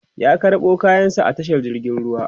ya karɓo kayan sa a tashar jirgin ruwa